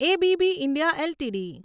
A B B India LTD